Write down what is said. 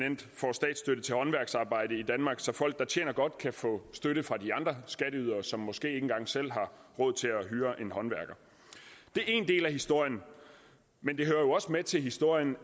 statsstøtte til håndværksarbejde i danmark så folk der tjener godt kan få støtte fra de andre skatteydere som måske ikke engang selv har råd til at hyre en håndværker det er én del af historien men det hører jo også med til historien